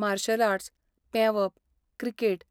martial arts, पेंवप, cricket